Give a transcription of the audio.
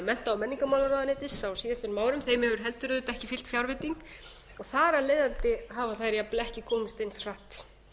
mennta og menningarmálaráðuneytis á síðastliðnum árum þeim hefur heldur auðvitað ekki fylgt fjárveiting og þar af leiðandi hafa þær ekki komist eins hratt